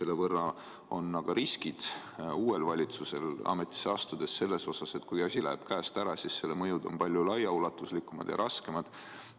Nüüd on uuel valitsusel pärast ametisse astumist risk, et kui asi läheb käest ära, siis selle mõjud on palju ulatuslikumad ja raskemad.